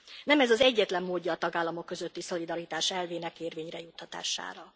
Nem ez az egyetlen módja a tagállamok közötti szolidaritás elvének érvényre juttatására.